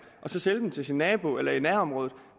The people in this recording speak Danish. og så sælge dem til sin nabo eller i nærområdet